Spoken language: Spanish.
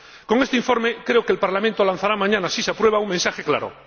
Con este informe, creo que el Parlamento lanzará mañana, si se aprueba, un mensaje claro.